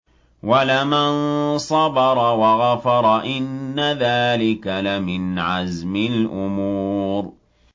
وَلَمَن صَبَرَ وَغَفَرَ إِنَّ ذَٰلِكَ لَمِنْ عَزْمِ الْأُمُورِ